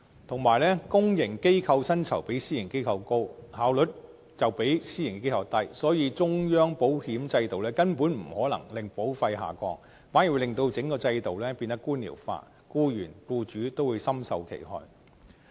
同時，公營機構薪酬比私營機構高，效率卻比私營機構低，所以，中央保險制度根本不可能令保費下降，反而會令整個制度變得官僚化，僱員和僱主都會深受其害。